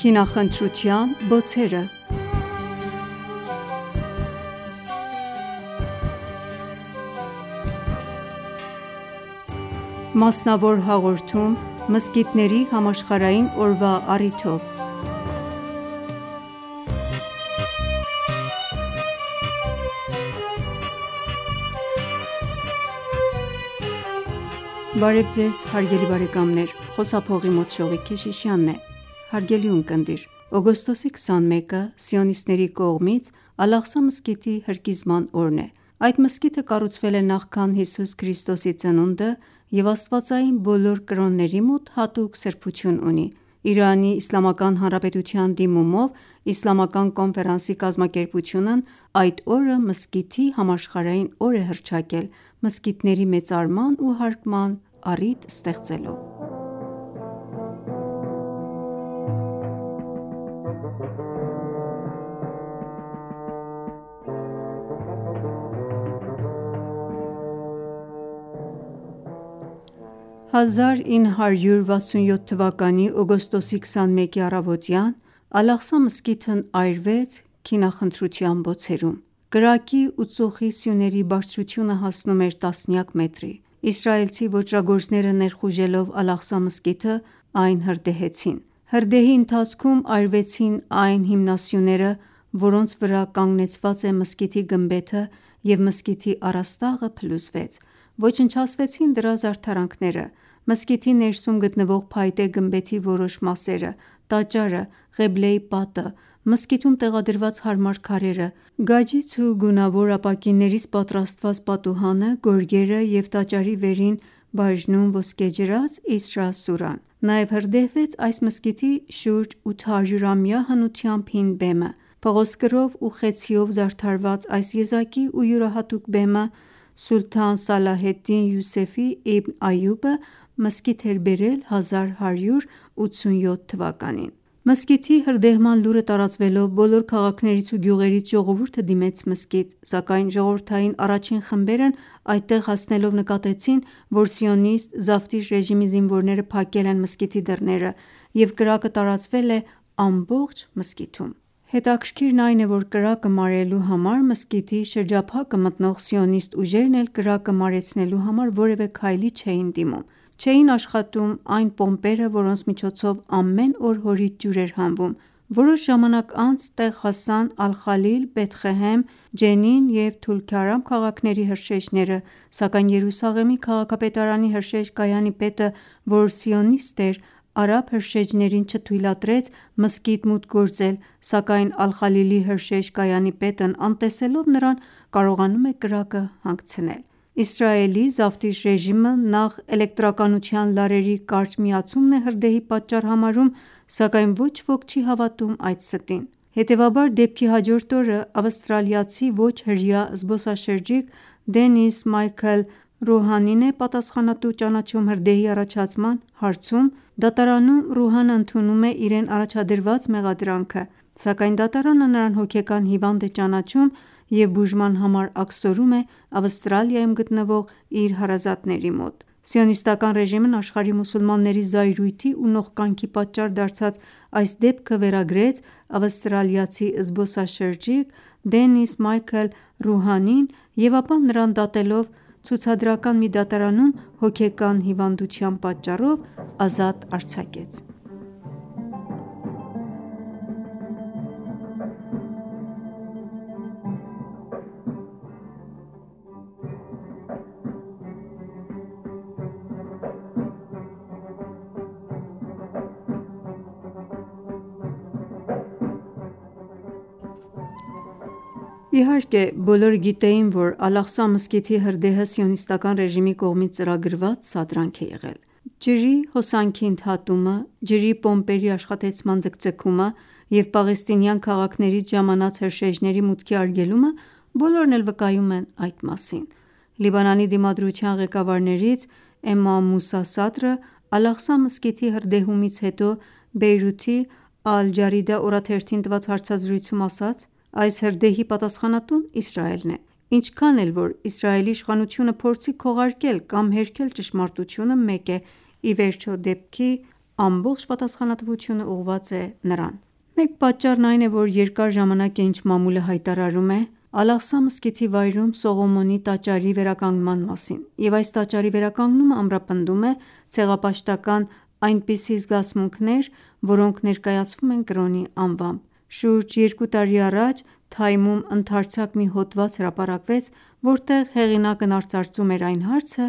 Քինախնդրության բոցերը (Մասնավոր հաղորդում մզկիթների համաշխարհային օրվա առիթով) Օգոստոսի 21-ը սիոնիստների կողմից «Ալ-Աղսա» մզկիթի հրկիզման օրն է: Այդ մզկիթը կառուցվել է նախքան Հիսուս Քրիստոսի ծնունդը և աստվածային բոլոր կրոնների մոտ հատուկ սրբություն ունի: ԻԻՀ-ի դիմումով Իսլամական Կոնֆերանսի կազմակերպությունն այդ օրը «Մզկիթի համաշխարհային օր» է հռչակել, մզկիթների մեծարման ու հարգման առիթ ստեղծելով: 1967 թվականի օգոստոսի 21-ի առավոտյան «Ալ-Աղսա» մզկիթն այրվեց քինախնդրության բոցերում: Կրակի ու ծուխի սյուների բարձրությունը հասնում էր տասնյակ մետրի: Իսրայելցի ոճրագործներ ներխուժելով «Ալ-Աղսա» մզկիթը հրդեհեցին այն: Հրդեհի ընթացքում այրվեցին այն հիմնասյուները, որոնց վրա կանգնեցված է մզկիթի գմբեթը և մզկիթի առաստաղը փլուզվեց: Ոչնչացվեցին դրա զարդարանքները, մզկիթի ներսում գտնվող փայտե գմբեթի որոշ մասերը, տաճարը, Ղեբլեի պատը, մզկիթում տեղադրված մարմար քարերը, գաջից ու գունավոր ապակիներից պատրաստված պատուհանը, գորգերը և տաճարի վերին բաժնում ոսկեջրած «Իսրա» սուրան: Նաև հրդեհվեց այս մզկիթի շուրջ 800-ամյա հնությամբ հին բեմը: Փղոսկրով ու խեցիով զարդարված այս եզակի ու յուրահատուկ բեմը Սուլթան Սալահեդդին Յուսեֆ Իբն Այուբը մզկիթ էր բերել 1187 թվականին: Մզկիթի հրդեհման լուրը տարածվելով բոլոր քաղաքներից ու գյուղերից ժողովուրդը դիմեց մզկիթ, սակայն ժողովրդային առաջին խմբերն այդտեղ հասնելով նկատեցին, որ սիոնիստ զավթիչ ռեժիմի զինվորները փակել են մզկիթի դռները և կրակը տարածվել է ամբողջ մզկիթում: Հետաքրքիրն այն է, որ մզկիթի շրջափակը մտնող սիոնիստ ուժերն էլ կրակը մարելու համար որևէ քայլի չէին դիմում: Չէին աշխատում այն պոմպերը, որոնց միջոցով ամեն օր հորից ջուր է հանվում: Որոշ ժամանակ անց տեղ հասան Ալխալիլ, Բեթղեհեմ, Ջենին և Թոլքարմ քաղաքների հրշեջները, սակայն Երուսաղեմի քաղաքապետարանի հրշեջ կայանի պետը, որ սիոնիստ էր արաբ հրշեջներին չթույլատրեց մզկիթ մուտք գործել, սակայն Ալխալիլի հրշեջ կայանի պետն անտեսելով նրան կարողանում է կրակը հանգցնել: Իսրայելի զավթիչ ռեժիմը նախ էլեկտրականության լարերի կարճ միացումն է հրդեհի պատճառ համարում, սակայն ոչ ոք չի հավատում այդ ստին: Հետևաբար դեպքի հաջորդ օրը ավստրալիացի ոչ-հրեա զբոսաշրջիկ Դենիս Մայքըլ Ռուհանին է պատասխանատու ճանաչում հրդեհի առաջացման հարցում: Դատարանում Ռուհանն ընդունում է իրեն առաջադրված մեղադրանքը, սակայն դատարանը նրան հոգեկան հիվանդ է ճանաչում և բուժման համար աքսորում է Ավստրալիայում գտնվող իր հարազատների մոտ: Սիոնիստական ռեժիմն աշխարհի մուսուլմանների զայրույթի ու նողկանքի պատճառ դարձած այս դեպքը վերագրեց ավստրալիացի զբոսաշրջիկ Դենիս Մայքըլ Ռուհանին և ապա նրան դատելով ցուցադրական մի դատարանում հոգեկան հիվանդության պատճառով ազատ արձակեց: Իհարկե բոլորը գիտեին, որ «Ալ-Աղսա» մզկիթի հրդեհը Սիոնիստական ռեժիմի կողմից ծրագրված սադրանք է եղել: Ջրի հոսանքի ընդհատումը, ջրի պոմպերի աշխատեցման ձգձգումը և պաղեստինյան քաղաքներից ժամանած հրշեջների մուտքի արգելումը բոլորն էլ վկայում են այդ մասին: Լիբանանի դիմադրության ղեկավարներից Էմամ Մուսա Սադրը «Ալ-Աղսա» մզկիթի հրդեհումից հետո Բեյրութի «Ալ-Ջարիդա» օրաթերթին տված հարցազրույցում ասաց. «Այս հրդեհի պատասխանատուն Իսրայելն է: Ինչքան էլ, որ Իսրայելի իշխանությունը փորձի քողարկել կամ հերքել ճշմարտությունը, մեկ է, ի վերջո դեպքի ամբողջ պատասխանատվությունն ուղղված է նրա կողմը: Մեր պատճառն այն է, որ երկար ժամանակ է ինչ մամուլը հայտարարում է «Ալ-Աղսա» մզկիթի վայրում Սողոմոնի տաճարի վերականգնման մասին և այս տաճարի վերականգնումը ամրապնդում է ցեղապաշտական այնպիսի զգացմունքներ, որոնք ներկայացվում են կրոնի անվամբ: Շուրջ երկու տարի առաջ «Թայմ»-ում ընդարձակ մի հոդված հրապարակվեց, որտեղ հեղինակն արծարծում էր այն հարցը,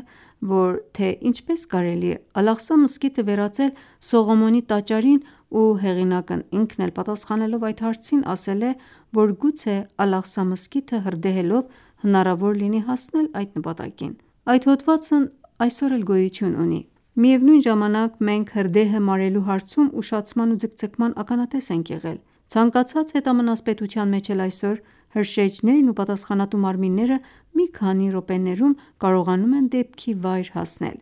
որ թե ինչպե՞ս կարելի է «Ալ-Աղսա» մզկիթը վերածել Սողոմոնի տաճարին ու հեղինակն ինքն էլ պատասխանելով այդ հարցին ասել է, որ գուցե «Ալ-Աղսա» մզկիթը հրդեհելով հնարավոր լինի հասնել այդ նպատակին: Այդ հոդվածն այսօր էլ գոյություն ունի: Միևնույն ժամանակ մենք հրդեհը մարելու հարցում ուշացման ու ձգձգման ականատես ենք եղել: Ցանկացած հետամնաց պետության մեջ էլ այսօր հրշեջներն ու պատասխանատու մարմինները մի քանի րոպեներում կարողանում են դեպքի վայր հասնել»: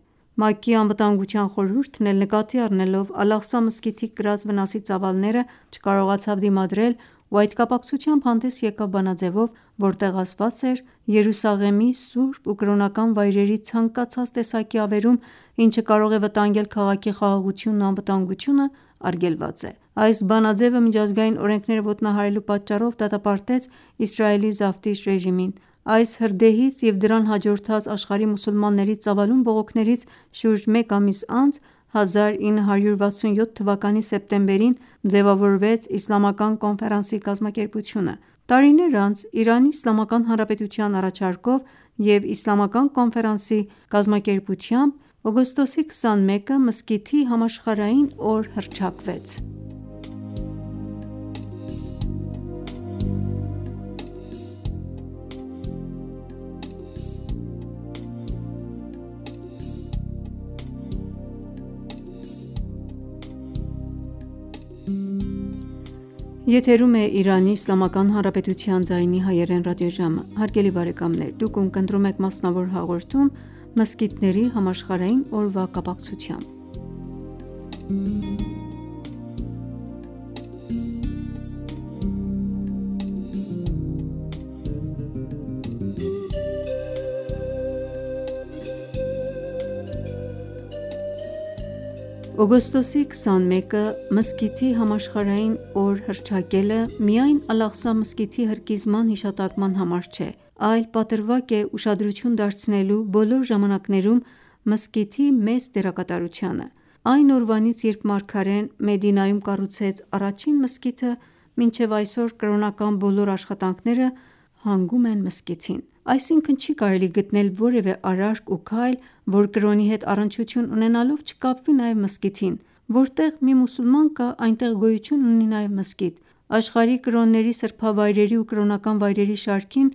ՄԱԿ-ի Անվտանգության խորհուրդն էլ նկատի առնելով «Ալ-Աղսա»մզկիթի կրած վնասի ծավալները չկարողացավ դիմադրել ու այդ կապակցությամբ հանդես եկավ բանաձևով, որտեղ ասված էր, որ Երուսաղեմի սուրբ ու կրոնական վայրերի ցանկացած տեսակի ավերում, ինչը կարող է վտանգել քաղաքի խաղաղությունն ու անվտանգությունն արգելված է: Այս բանաձևը միջազգային օրենքները ոտնահարելու պատճառով դատապարտեց Իսրայելի զավթիչ ռեժիմին: Այս հրդեհից և դրան հաջորդած աշխարհի մուսուլմանների ծավալուն բողոքներից շուրջ մեկ ամիս անց՝ 1967 թվականի սեպտեմբերին ձևավորվեց Իսլամական Կոֆերանսի կազմակերպությունը: Տարիներ անց ԻԻՀ-ի առաջարկով և Իսլամական Կոնֆերանսի կազմակերպության վավերացմամբ օգոստոսի 21-ը Մզկիթի համաշխարհային օր հռչակվեց: Այս անվանակոչությունը միայն «Ալ-Աղսա» մզկիթի հրկիզման հիշատակման համար չէ, այլ պատրվակ է ուշադրություն դարձնելու բոլոր ժամանակներում մզկիթի մեծ դերակատարությանը: Այն օրվանից երբ մարգարեն Մեդինայում կառուցեց առաջին մզկիթը մինչև այսօր կրոնական բոլոր աշխատանքները հանգում են մզկիթին: Այսինքն չի կարելի գտնել որևէ արարք ու քայլ, որ կրոնի հետ առնչություն ունենալով չկապվի նաև մզկիթին: Որտեղ մի մուսուլման կա, այնտեղ գոյություն ունի նաև մզկիթ: Աշխարհի կրոնների սրբավայրերի ու կրոնական վայրերի շարքին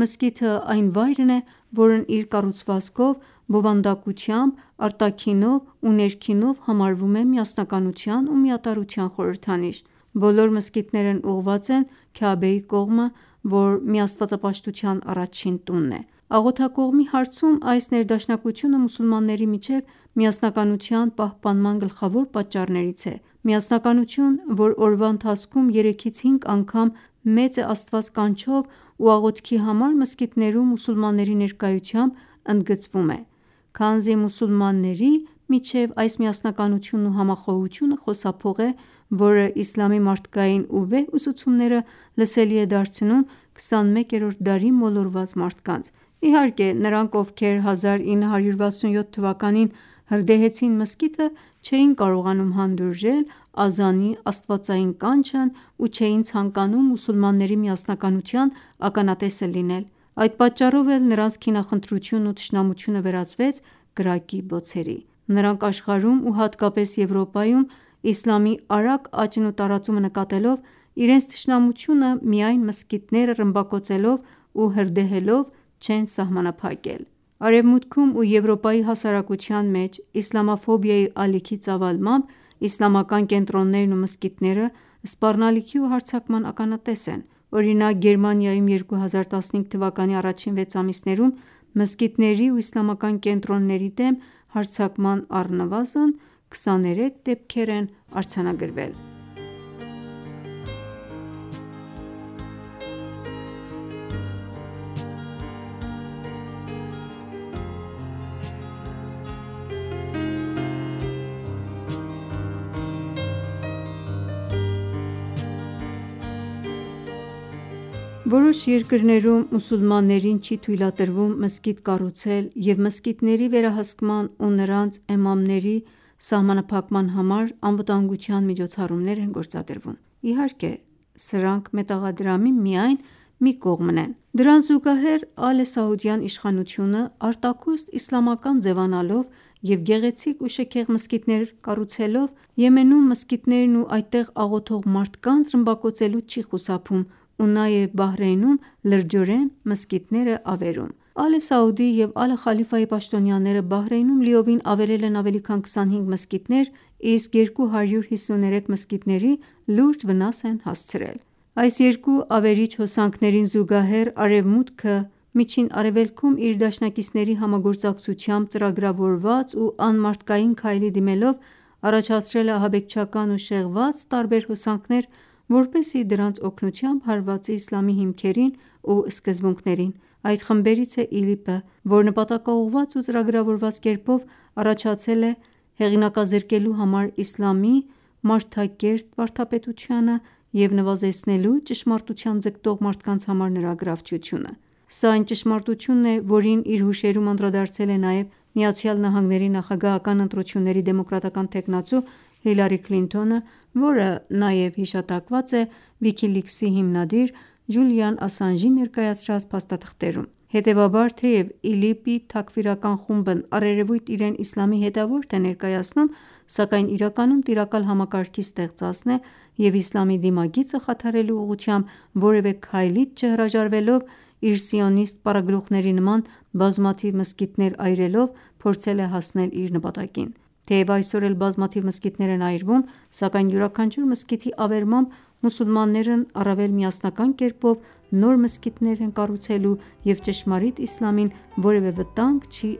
մզկիթն այն վայրն է, որն իր կառուցվածքով բովանդակությամբ, արտաքինով ու ներքինով համարվում է միասնականության ու միատարրության խորհրդանիշ: Բոլոր մզկիթներն ուղղված են Քյաբեի կողմը, որ միաստվածապաշտության առաջին տունն է: Աղոթակողմի հարցում այս ներդաշնակությունը մուսուլմանների միջև միասնականության պահպանման գլխավոր պատճառներից է: Միասնականություն, որ օրվա ընթացքում երեքից հինգ անգամ «Մեծ է Աստված» կանչով ու աղոթքի համար մզկիթներում մուսուլմանների ներկայությամբ ընդգծվում: Քանզի մուսուլմանների միջև այս միասնականությունն ու համախոհությունը խոսափող է, որը իսլամի մարդկային ու վեհ ուսուցումները լսելի է դարձնում 21-րդ դարի մոլորված մարդկանց: Իհարկե նրանք ովքեր 1967 թվականին հրդեհեցին մզկիթը չէին կարողանում հանդուրժել ազանի աստվածային կանչն ու չեին ցանկանում մուսուլմանների միասնականության ականատեսը լինել: Այդ պատճառով էլ նրանց քինախնդրությունն ու թշնամությունը վերածվեց կրակի բոցերի: Նրանք աշխարհում ու հատկապես Եվրոպայում իսլամի արագ աճն ու տարածումը նկատելով, իրենց թշնամությունը միայն մզկիթները ռմբակոծելով ու հրդեհելով չեն սահմանափակել: Արևմուտքում ու Եվրոպայի հասարակության մեջ իսլամաֆոբիայի ալիքի ծավալմամբ իսլամական կենտրոններն ու մզկիթները սպառնալիքի ու հարձակման ականատես են: Օրինակ, Գերմանիայում 2015 թվականի առաջին վեց ամիսներում մզկիթների ու իսլամական կենտրոնների դեմ հարձակման առնվազն 23 դեպքեր են արձանագրվել: Որոշ երկրներում մուսուլմաններին չի թույլատրվում մզկիթ կառուցել և մզկիթների վերահսկման ու նրանց էմամների սահմանափակման համար անվտանգության միջոցառումներ են գործադրվում: Իհարկե սրանք մետաղադրամի միայն մի կողմն են: Դրան զուգահեռ Ալե Սաուդի իշխանությունը արտաքուստ իսլամական ձևանալով և գեղեցիկ ու շքեղ մզկիթներով կառուցելով հանդերձ Եմենում մզկիթներն ու այդտեղ աղոթող մարդկանց ռմբակոծելուց չի խուսափում ու նաև Բահրեյնում լրջորեն մզկիթներ է ավերում: Ալե Սաուդի և Ալե Խալիֆայի պաշտոնյաները Բահրեյնում լիովին ավերել են ավելի քան 25 մզկիթներ, իսկ 253 մզկիթների լուրջ վնաս են հասցրել: Այս երկու ավերիչ հոսանքներին զուգահեռ արևմուտքն էլ Միջին Արևելքում իր դաշնակիցների համագործակցությամբ ծրագրավորված ու անմարդկային քայլի դիմելով առաջացրել է ահաբեկչական ու շեղված տարբեր հոսանքներ, որպեսզի դրանց օգնությամբ հարվածի իսլամի հիմքերին ու սկզբունքներին: Այդ խմբերից է ԻԼԻՊ-ը, որ նպատակաուղղված ու ծրագրավորված կերպով առաջացել է հեղինակազրկելու համար իսլամի մարդակերտ վարդապետությունը և նվազեցնելու ճշմարտության ձգտող մարդկանց համար նրա գրավչությունը: Սա այն ճշմարտությունն է, որին իր հուշերում անդրադարձել է նաև ԱՄՆ-ի նախագահական ընտրությունների դեմոկրատական թեկնածու Հիլարի Քլինթոնը, որը նաև հիշատակված է Վիքի Լիքսի հիմնադիր Ջուլիան Ասանժի ներկայացրած փաստաթղթերում: Հետևաբար թեև ԻԼԻՊ թաքֆիրական խումբն առերևույթ իրեն իսլամի հետևորդ է ներկայացնում, սակայն իրականում տիրակալ համակարգի ստեղծածն է և իսլամի դիմագիծը խաթարելու ուղղությամբ որևէ քայլից չհրաժարվելով իր սիոնիստ պարագլուխների նման բազմաթիվ մզկիթներ այրելով փորձել է հասնել իր նպատակին: Թեև այսօր էլ բազմաթիվ մզկիթներ են այրվում, սակայն յուրաքանչյուր մզկիթի ավերմամբ մուսուլմաններն առավել միասնական կերպով նոր մզկիթներ են կառուցելու և ճշմարիտ իսլամին որևէ վտանգ չի